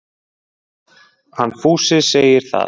Hann Fúsi segir það.